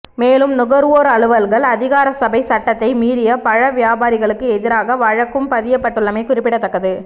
மேலும் நுகர்வோர் அலுவல்கள் அதிகாரசபை சட்டத்தை மீறிய பல வியாபாரிகளுக்கு எதிராக வழக்கும் பதியப்பட்டுள்ளமை குறிப்பிடத்தக்கது